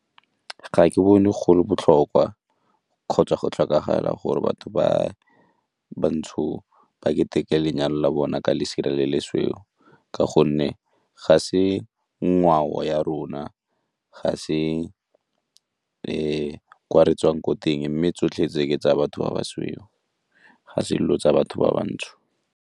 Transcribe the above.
Ga ke bone go le botlhokwa kgotsa go tlhokagala gore batho ba bantsho ba ketekete lenyalo la bona ka lesire le le sweu ka gonne ga se ngwao ya rona, ga se kwa re tswang ko teng mme tsotlhe tse ke tsa batho ba basweu, ga se dilo tsa batho ba bantsho.